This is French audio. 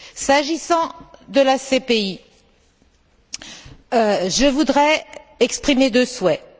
S'agissant de la CPI, je voudrais exprimer deux souhaits.